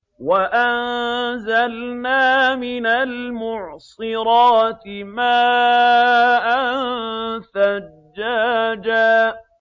وَأَنزَلْنَا مِنَ الْمُعْصِرَاتِ مَاءً ثَجَّاجًا